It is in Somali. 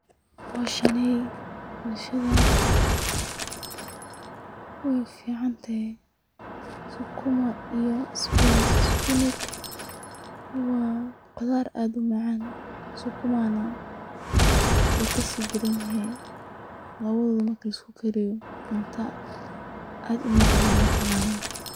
Howshani bulshada wey uficante sukuma iyo sbinaj. Sbinaj wa qudar aad umacan, sukuma nah wu kasidaran yahay lawadoda marki laiskukariyo cunta aad umacan ayey noqonayin.